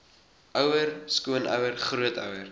ouer skoonouer grootouer